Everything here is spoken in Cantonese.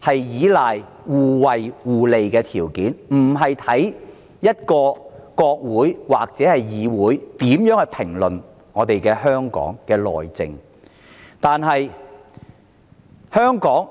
係依賴的是互惠互利的條件，而非國會或議會對香港內政的評論。